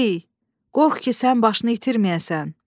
Ey, qorx ki, sən başını itirməyəsən.